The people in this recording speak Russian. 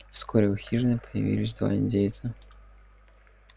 вскоре у хижины появились два индейца